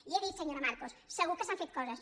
i he dit senyora marcos segur que s’han fet coses